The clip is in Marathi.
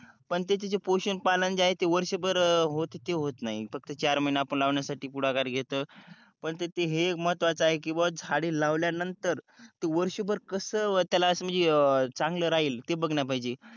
पण त्याचे ते पोषण पालन जे आहे ते वर्षभर होत ते होत नही फक्त चार महीने आपण ते लावण्यासाठी पुढाकार घेत पण तेते महत्वाचे आहे झाडे लावल्या नंतर ते वरभर कस त्याला अस म्हणजे चांगल राहील ते बघळ पाहीजे